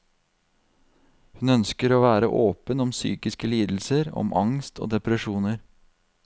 Hun ønsker å være åpen om psykiske lidelser, om angst og depresjoner.